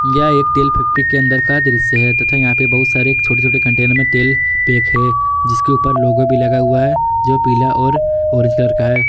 यह एक तेल फैक्ट्री के अंदर का दृश्य है तथा यहां पे बहुत सारे छोटे छोटे कंटेनर में तेल पैक है जिसके ऊपर लोगो भी लगा हुआ है जो पीला और ऑरेंज कलर का है।